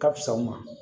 Ka fisa u ma